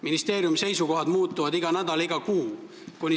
Ministeeriumi seisukohad muutuvad iga nädal ja iga kuu.